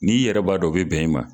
Ni'i yɛrɛbaa dɔ o bɛ bɛn in ma.